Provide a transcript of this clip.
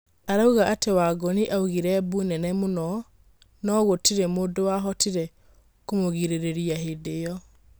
Arauga atĩ Wangũnĩ augĩre mbu nene mũno no gũtirĩ mũndũwa hotire kũmũrĩgĩrĩria hĩndĩ ĩo.